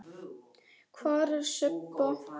Hvar er Sibba?